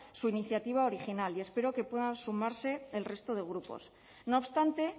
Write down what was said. su iniciativa original y espero que pueda sumarse el resto de grupos no obstante